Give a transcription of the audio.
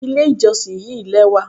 Ilé ìjọsìn yí lẹ́wà.